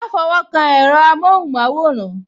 Ma fọwọ́ kan èro amohun maworan